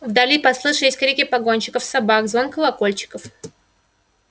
вдали послышались крики погонщиков собак звон колокольчиков